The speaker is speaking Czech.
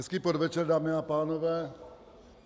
Hezký podvečer, dámy a pánové.